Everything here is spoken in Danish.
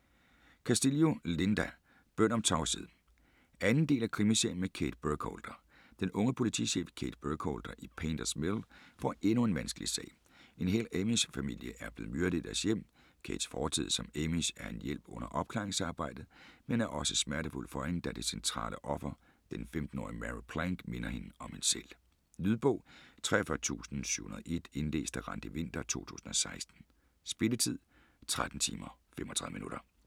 Castillo, Linda: Bøn om tavshed 2. del af Krimiserien med Kate Burkholder. Den unge politichef Kate Burkholder i Painters Mill får endnu en vanskelig sag: En hel amish familie er blevet myrdet i deres hjem. Kates fortid som amish er en hjælp under opklaringsarbejdet, men er også smertefuld for hende, da det centrale offer, den 15-årige Mary Plank, minder hende om hende selv. Lydbog 43701 Indlæst af Randi Winther, 2016. Spilletid: 13 timer, 35 minutter.